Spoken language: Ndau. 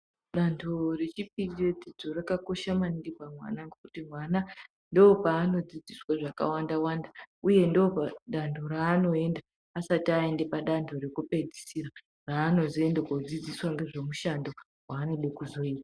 Dando rechipiri re dzidzo raka kosha maningi pamwana ngekuti mwana ndopaano dzidziswa zvaka wanda wanda uye ndo dando raanoenda asati ayende pa dando reku pedzisira raano zoenda ko dzidziswa ngezve mushando wanoda kuzoita.